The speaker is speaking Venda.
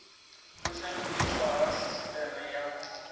u shandukiswa ha sisiteme ya